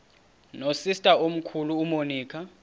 nosister omkhulu umonica